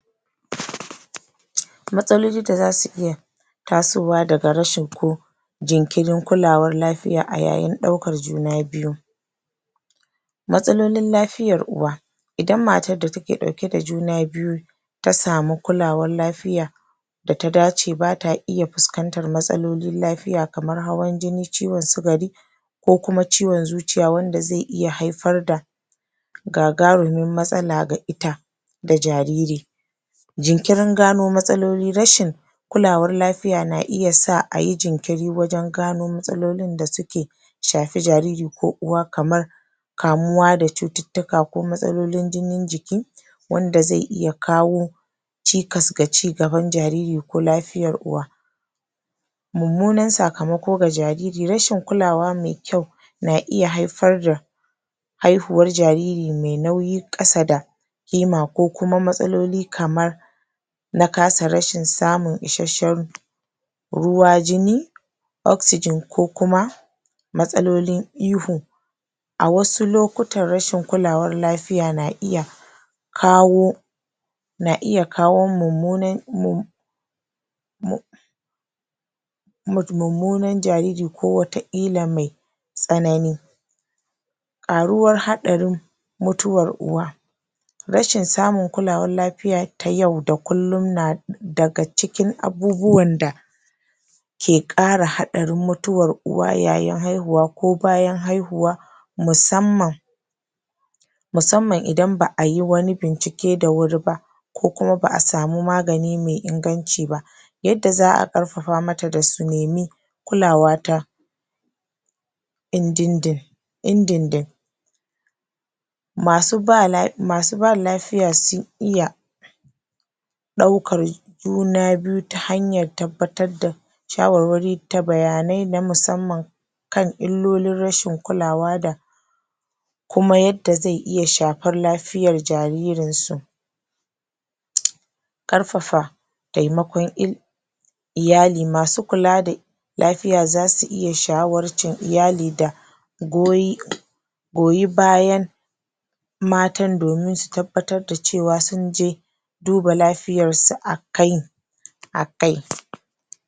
Matsaloli da zasu iya tasowa daga rashi ko ko jinkirin kulawar lafiya a yayin ɗaurar juna biyu matsalolin lafiyar uwa idan matar da take ɗauke da juna biyu ta samu kulawar lafiya da ta dace bata iya fuskanatar matsalolin lafiya kamar hawan jini, ciwon sukari ko kuma ciwon zuciya wanda zai iya haifar da gagarumin matsala ga ita da jariri Jinkirin gano matsaloli rashin kulawar lafiya na iya sa ayi jinkiri wajen gano matsalolin da suke shafi jariri ko uwa kamar kamuwa da cututtuka ko matsalolin jinin jiki wanda zai iya kawo cikas ga cigaban jariri ko lafiyan uwa Mummunan sakamako ga jariri. Rashin kulawa mai kyau na iya haifar da haihuwar jariri mai nauyi ƙasa da Kima ko kuma matsaloli kamar na kasa rashin samun isasshen ruwa, jini oxygen ko kuma matsalolin ihu a wasu lokutan rashin kulawar lafiya na iya kawo na iya kawo mummunan? mummunan jariri ko wataƙila mai tsanani ƙaruwar haɗarin mutuwar uwa rashin samun kulawar lafiya ta yau da kullum na daga cikin abubuwan da ke ƙara haɗarin mutuwar uwa yayin haihuwa ko bayan haihuwa musamman musamman idan ba ayi wani bincike da wuri ba ko kuma ba a samu magani mai inganci ba yagga za a ƙafafa mata da su nemi kulawa ta? indindin?? ɗaukar juna biyu ta hanyar tabbatar ad shawarwari da bayanai na musamman kan illolin rashin kulawa da kuma yada zai iya shafar lafiyan jaririn su Ƙarfafa taimakon? iyali masu kula da lafiya zasu iya shawarcin iyali da? goyi bayan matan domin su tabbatar da cewa sunje duba lafiyarsu a kai a kai